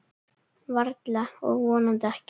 Varla og vonandi ekki.